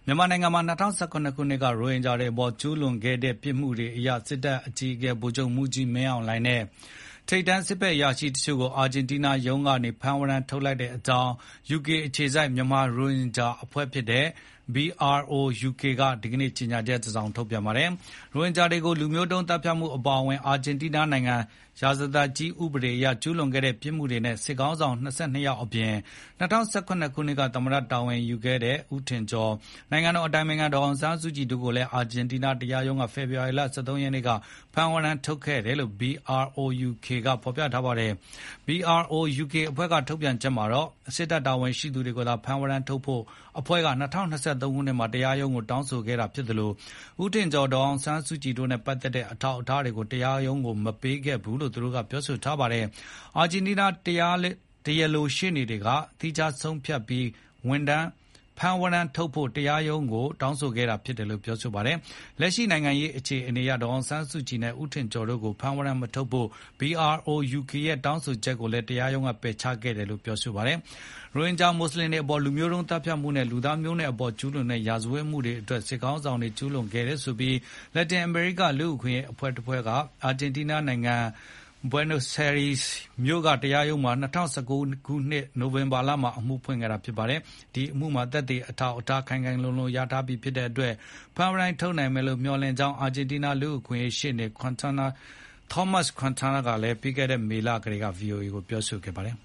မြန်မာနိုင်ငံမှာ ၂၀၁၇ ခုနှစ်က ရိုဟင်ဂျာတွေအပေါ်ကျူးလွန်ခဲ့တဲ့ ပြစ်မှုတွေအရ စစ်တပ်အကြီးအကဲ ဗိုလ်ချုပ်မှူးကြီးမင်းအောင်လှိုင်နဲ့ ထိပ်တန်းစစ်အရာရှိတချို့ကို အာဂျင်တီးနားတရားရုံးက ဖမ်းဝရမ်း ထုတ်လိုက်ကြောင်း UK အခြေစိုက် မြန်မာရိုဟင်ဂျာအဖွဲ့ BROUK က ဒီနေ့ ကြေညာချက် ထုတ်ပြန်ပါတယ်။ ရိုဟင်ဂျာတွေကို လူမျိုးတုံးသတ်ဖြတ်မှုအပါအဝင် အာဂျင်တီးနားနိုင်ငံ ရာဇသတ်ကြီးဥပဒေအရ ကျူးလွန်ခဲ့တဲ့ပြစ်မှုတွေနဲ့ စစ်ခေါင်းဆောင် ၂၂ ယောက်အပြင် ၂၀၁၇ ခုနှစ်က သမ္မတတာဝန်ယူထားတဲ့ ဦးထင်ကျော်၊ နိုင်ငံတော်အတိုင်ပင်ခံဒေါ်အောင်ဆန်းစုကြည်တို့ကိုလည်း အာဂျင်တီးနားတရားရုံးက ဖေဖော်ဝါရီ ၁၃ ရက်က ဖမ်းဝရမ်း ထုတ်တယ်လို့ BROUK ကပြောပါတယ်။ BROUK အဖွဲ့ထုတ်ပြန်ချက်မှာတော့ စစ်တပ်တာဝန်ရှိသူတွေကိုသာ ဖမ်းဝရမ်းထုတ်ဖို့ အဖွဲ့က ၂၀၂၃ မှာ တရားရုံးမှာတောင်းဆိုခဲ့တာြဖစ်သလို ဦးထင်ကျော်၊ ဒေါ်ဆောင်ဆန်းစုကြည်တို့နဲ့ပတ်သက်တဲ့ အထောက်အထားတွေကို တရားရုံးကိုမပေးခဲ့ဘူးလို့ဆိုထားပါတယ်။ အာဂျင်တီးနားတရားလိုရှေ့နေ တွေက သီးခြားဆုံးဖြတ်ပြီး ဖမ်းဝရမ်းထုတ်ဖို့ တရားရုံးကို တောင်းဆိုတယ်လို့ပြောပါတယ်။ လက်ရှိနိုင်ငံရေးအခြေအနေအရ ဒေါ်အောင်ဆန်းစုကြည်နဲ့ ဦးထင်ကျော်တို့ကို ဖမ်းဝရမ်းမထုတ်ဖို့ BROUK ရဲ့တောင်းဆိုချက်ကိုလည်း တရားရုံးက ပယ်ချခဲ့တယ်လို့ ဆိုပါတယ်။ ရိုဟင်ဂျာမွတ်ဆလင်တွေအပေါ် လူမျိုးတုံးသတ်ဖြတ်မှုနဲ့ လူသားမျိုးနွယ်အပေါ် ကျူးလွန်တဲ့ ရာဇဝတ်မှုတွေ စစ်ခေါင်းဆောင်တွေ ကျူးလွန်ခဲ့တယ်ဆိုပြီး လက်တင်အမေရိက လူ့အခွင့်ရေး အဖွဲ့တွေက အာဂျင်တီးနားနိုင်ငံ Buenos Aires မြို့ကတရားရုံးတခုမှာ ၂၀၁၉ ခုနှစ် နိုဝင်ဘာမှာ အမှုဖွင့်ခဲ့တာပါ။ ဒီအမှုမှာ သက်သေအထောက်အထားတွေ ခိုင်ခိုင်လုံလုံ ရထားပြီဖြစ်တဲ့အတွက် ဖမ်းဝရမ်းထုတ်လိမ့်မယ်လို့ ခန့်မှန်းကြောင်း အာဂျင်တီးနား လူ့အခွင့်အရေးရှေ့နေ Tomas Quintina ကလည်း ပြီးခဲ့တဲ့နှစ် မေလကတည်းက VOA ကို ပြောကြားခဲ့ပါတယ်။